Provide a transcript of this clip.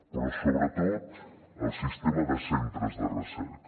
però sobretot el sistema de centres de recerca